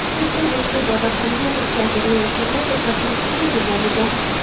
Haykal boshqa ibodatxonaga olib keltirayotganda to‘satdan tushirib yuborilgan.